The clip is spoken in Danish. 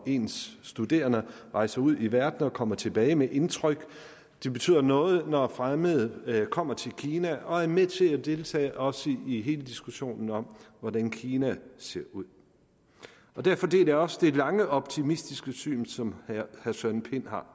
ens studerende rejser ud i verden og kommer tilbage med indtryk det betyder noget når fremmede kommer til kina og er med til at deltage også i hele diskussionen om hvordan kina ser ud derfor deler jeg også det lange optimistiske syn som herre søren pind har